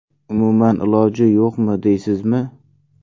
Umuman iloji yo‘qmi, deysizmi?